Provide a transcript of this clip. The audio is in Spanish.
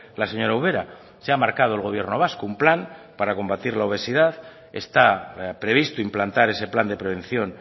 la señora ubera se ha marcado el gobierno vasco un plan para combatir la obesidad está previsto implantar ese plan de prevención